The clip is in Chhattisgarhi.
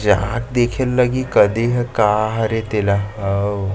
जहाँ देखे ल लगही कती हे का हरे तेला--